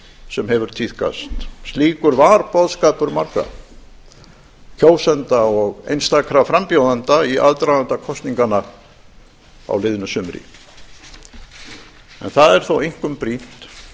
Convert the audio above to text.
sem hefur tíðkast slíkur var boðskapur margra kjósenda og einstakra frambjóðenda í aðdraganda kosninganna á liðnu sumri en það er þó einkum brýnt